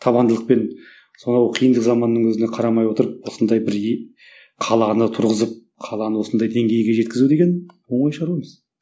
табандылықпен сонау қиындық заманның өзіне қарамай отырып осындай бір и қаланы тұрғызып қаланы осындай деңгейге жеткізу деген оңай шаруа емес